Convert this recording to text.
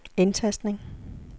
indtastning